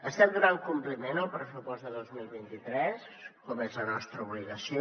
estem donant compliment al pressupost de dos mil vint tres com és la nostra obligació